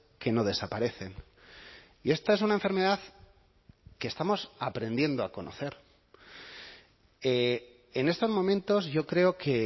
que no desaparecen y esta es una enfermedad que estamos aprendiendo a conocer en estos momentos yo creo que